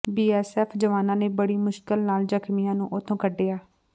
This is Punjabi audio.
ਬੀਐਸਐਫ ਜਵਾਨਾਂ ਨੇ ਬੜੀ ਮੁਸ਼ਕਲ ਨਾਲ ਜ਼ਖ਼ਮੀਆਂ ਨੂੰ ਉੱਥੋਂ ਕੱਿਢਆ